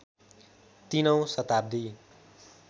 ३ औँ शताब्दी